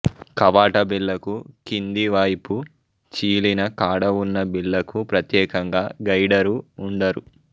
కవాట బిళ్ళకు కింది వైపు చీలిన కాడ వున్న బిల్లకు ప్రత్యేకంగా గైడరు వుండరు